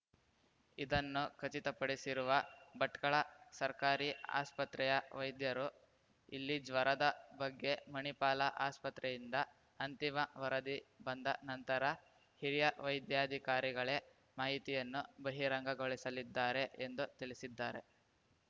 ಇದನ್ನು ಖಚಿತಪಡಿಸಿರುವ ಭಟ್ಕಳ ಸರ್ಕಾರಿ ಆಸ್ಪತ್ರೆಯ ವೈದ್ಯರು ಇಲಿಜ್ವರದ ಬಗ್ಗೆ ಮಣಿಪಾಲ ಆಸ್ಪತ್ರೆಯಿಂದ ಅಂತಿಮ ವರದಿ ಬಂದ ನಂತರ ಹಿರಿಯ ವೈದ್ಯಾಧಿಕಾರಿಗಳೇ ಮಾಹಿತಿಯನ್ನು ಬಹಿರಂಗಗೊಳಿಸಲಿದ್ದಾರೆ ಎಂದು ತಿಳಿಸಿದ್ದಾರೆ